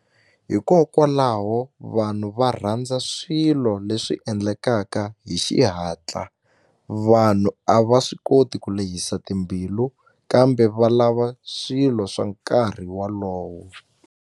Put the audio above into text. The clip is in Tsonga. Hikokwalaho vanhu va rhandza swilo leswi endlekaka hi xihatla vanhu a va swi koti ku lehisa timbilu kambe va lava swilo swa nkarhi walowo.